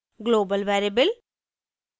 global variable